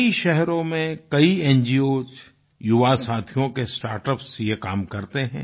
कई शहरों में कई न्गोस युवा साथियों के स्टार्टअप्स ये काम करते हैं